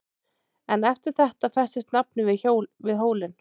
En eftir þetta festist nafnið við hólinn.